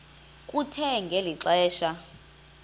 kuthe ngeli xesha